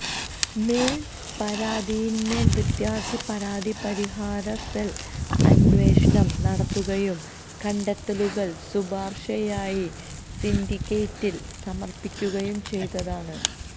മേൽപരാതിയിന്മേൽ വിദ്യാർത്ഥി പരാതി പരിഹാര സെൽ അന്വേഷണം നടത്തുകയും കണ്ടെത്തലുകൾ ശുപാർശയായി സിന്റിക്കേറ്റിൽ സമർപ്പിക്കുകയും ചെയ്തതാണ്